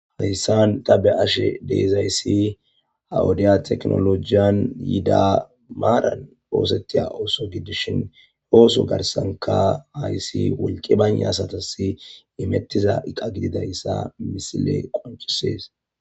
Hayssan ta be ashe deezayssi haodeya teknolojiyan yiida maaran oosettiya ooso gidishin hooso garsanka hayssi wolqi banye asatasi imettiza iqa gidida issa misile qonchisees.